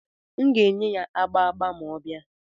M ga-enye ya agba agba ma ọ bịa.